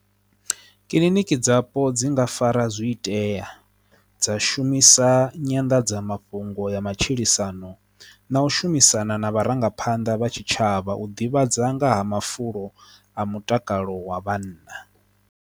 Kiḽiniki dzapo dzi nga fara zwi itea dza shumisa nyanḓadzamafhungo ya matshilisano na u shumisana na vharangaphanḓa vha tshitshavha u ḓivhadza nga ha mafulo a mutakalo wa vhanna.